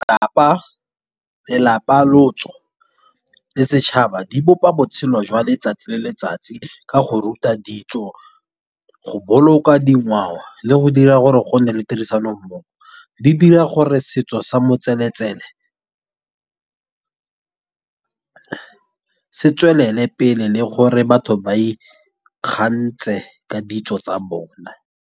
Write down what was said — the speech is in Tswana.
Lelapa lotso le setšhaba di bopa botshelo jwa letsatsi le letsatsi. Ka go ruta ditso go boloka dingwao, le go dira gore go nne le tirisano mmogo. Di dira gore setso sa motseletsele setswelele pele le gore batho ba ikgantshe ka ditso tsa bona.